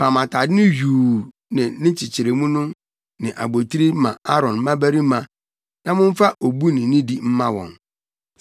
Pam atade yuu ne nkyekyeremu ne abotiri ma Aaron mmabarima na momfa obu ne nidi mma wɔn.